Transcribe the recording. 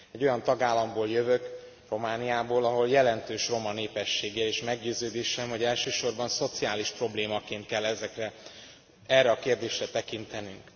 Egy olyan tagállamból jövök, Romániából, ahol jelentős roma népesség él, és meggyőződésem, hogy elsősorban szociális problémaként kell erre a kérdésre tekintenünk.